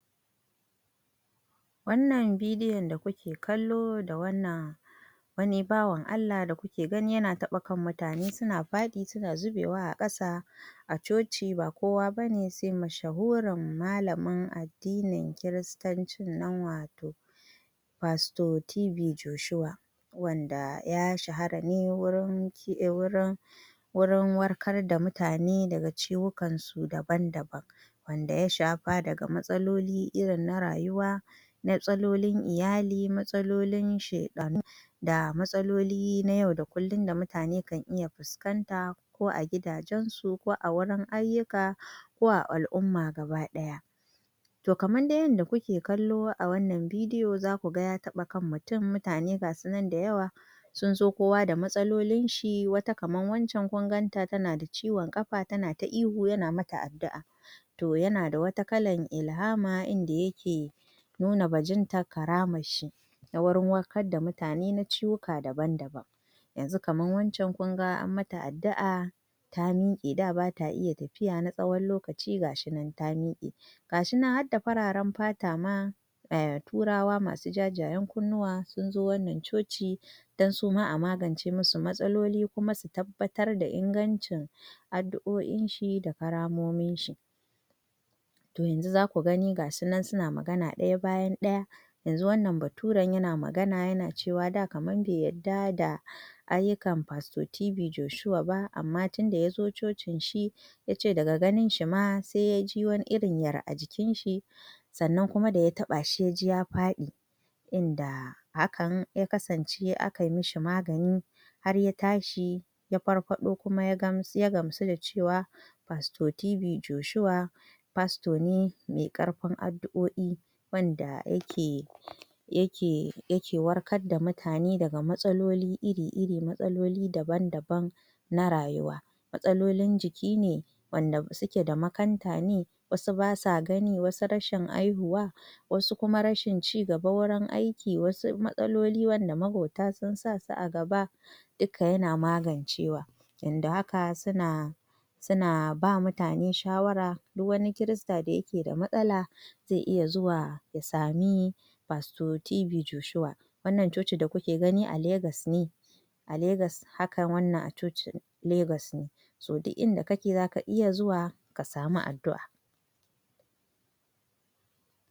Wannan bidiyon da kuke kallo da wannan wani bawan Allah da kuke gani yana taba kan mutane suna fadi suna zubewa a ƙasa, a coci ba kowa bane se masha hurin malamin addinin kiristan cinnan wato, pastor TB Joshua wanda ya shahara ne wurin ki wurin warkar da mutane daga ci wukansu daban daban, wanda yashafa daga matsololin irin na rawuwa, matsololin iyali matsololin shaɗanu da matsololin na yau da kullun da mutane kan iya fuskanta ko a gidajensu ko awurin aiyuka ko a al'umma gaba daya,, to kaman dai yada kuke kallo awannan bidiyo za kuga ya taba kan mutun mutane gasunan dai da yawa sunzo kowa da matsololin shi wata kaman wancen kunganta tanada ciwon kafa tana ta ihu yana mata addu'a to yanada wata kalan ilhama inda yake, nuna bajintan karamar shi na gurin warkar da mutane na cuwuka da ban da ban, yanzu kaman wancen kunga an mata addu'a ta mike da bata iya tafiya na tsawon lokaci gashinan ta mike, gashinan hadda fararan fata ma,[um] turawa masu jajayen kunnuwa sunzo wannan coci dan suma amagance musu matsololi kuma su tabbatar da inganci addu'o in shi da karamominshi to yanzu zaku gani gasunan suna magana daya bayan daya, yanzu wannan baturen yana magana yana cewa da kaman be yadda da ayukan pastor TB Joshua ba amma tinda yanzo cocinshi, yace daga ganin shima se yaji wani irin yar ajikinshi sannan kuma da ya taɓashi se yaji ya faɗi inda hakan ya kasance akai mishi magani har yatashi ya farfado kuma ya gam ya gamsu da cewa pastor TB Joshua pastor ne mai karfin addu'o i wanda yake, yake yake warkar da mutane daga matsololi iri iri matsololi daban daban, na rayuwa matsalolin jiki ne, wanda suke da makanta ne wasu basa gani wasu rashin haihuwa wasu kuma rashin ci gaba wurin aiki wasu matsololi wanda magwata sun sa su agaba duka yana magancewa yanda haka suna, suna bama mutane shawara duk wani Kirista da yake da matsala ze iya zuwa ya sami pastor TB Joshua wannan cocin da kuke gani a legas ne, a legas haka wannan a cocin legas ne so duk inda kake zaka iya zuwa kasami addu'a.